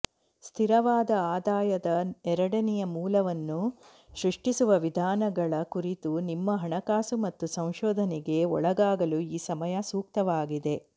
ಸ್ಥಿರವಾದ ಆದಾಯದ ಎರಡನೆಯ ಮೂಲವನ್ನು ಸೃಷ್ಟಿಸುವ ವಿಧಾನಗಳ ಕುರಿತು ನಿಮ್ಮ ಹಣಕಾಸು ಮತ್ತು ಸಂಶೋಧನೆಗೆ ಒಳಗಾಗಲು ಈ ಸಮಯ ಸೂಕ್ತವಾಗಿದೆ